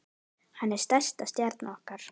Hann er stærsta stjarna okkar.